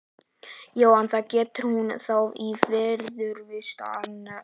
Jóhann: Það gerði hún þá í viðurvist annarra?